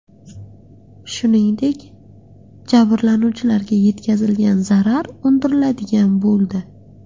Shuningdek, jabrlanuvchilarga yetkazilgan zarar undiriladigan bo‘ldi.